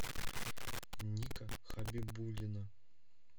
ника хабибуллина